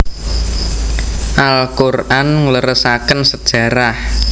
Al Quran ngleresaken sejarah